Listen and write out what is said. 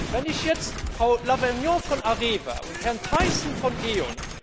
Wenn ich jetzt Frau Lauvergeon von Areva und Herrn Teyssen von